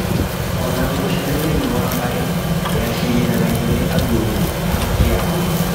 Ona ngucanio thĩniĩ wa mbarĩ yacirithinagio nĩ athuri ya kĩama